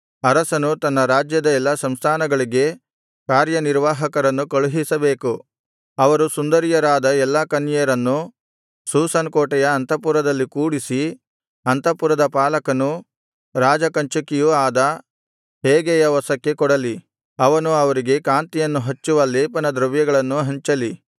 ಅರಸನು ತನ್ನ ರಾಜ್ಯದ ಎಲ್ಲಾ ಸಂಸ್ಥಾನಗಳಿಗೆ ಕಾರ್ಯನಿರ್ವಾಹಕರನ್ನು ಕಳುಹಿಸಬೇಕು ಅವರು ಸುಂದರಿಯರಾದ ಎಲ್ಲಾ ಕನ್ಯೆಯರನ್ನು ಶೂಷನ್ ಕೋಟೆಯ ಅಂತಃಪುರದಲ್ಲಿ ಕೂಡಿಸಿ ಅಂತಃಪುರದ ಪಾಲಕನೂ ರಾಜಕಂಚುಕಿಯೂ ಆದ ಹೇಗೈಯ ವಶಕ್ಕೆ ಕೊಡಲಿ ಅವನು ಅವರಿಗೆ ಕಾಂತಿಯನ್ನು ಹೆಚ್ಚಿಸುವ ಲೇಪನ ದ್ರವ್ಯಗಳನ್ನು ಹಂಚಲಿ